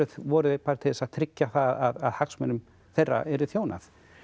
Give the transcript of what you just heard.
voru þeir bara til þess að tryggja það að hagsmunum þeirra yrði þjónað